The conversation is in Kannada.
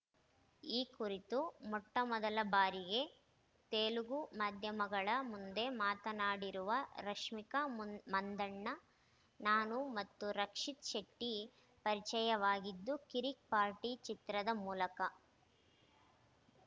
ಈ ಕುರಿತು ಮೊಟ್ಟಮೊದಲ ಬಾರಿಗೆ ತೆಲುಗು ಮಾಧ್ಯಮಗಳ ಮುಂದೆ ಮಾತನಾಡಿರುವ ರಶ್ಮಿಕಾ ಮುಂ ಮಂದಣ್ಣ ನಾನು ಮತ್ತು ರಕ್ಷಿತ್‌ ಶೆಟ್ಟಿಪರಿಚಯವಾಗಿದ್ದು ಕಿರಿಕ್‌ ಪಾರ್ಟಿ ಚಿತ್ರದ ಮೂಲಕ